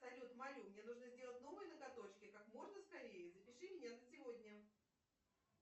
салют молю мне нужно сделать новые ноготочки как можно скорее запиши меня на сегодня